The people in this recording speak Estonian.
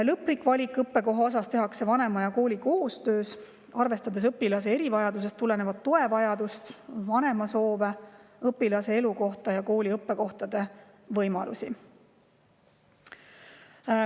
Lõplik õppekohavalik tehakse vanema ja kooli koostööna, arvestades õpilase erivajadusest tulenevat toevajadust, vanema soove, õpilase elukohta ja kooli õppekohtade võimalusi.